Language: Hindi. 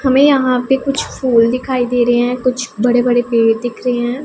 हमें यहां पे कुछ फूल दिखाई दे रहे हैं कुछ बड़े बड़े पेड़ दिख रहे हैं।